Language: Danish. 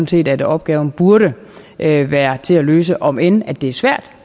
set at opgaven burde være være til at løse om end det er svært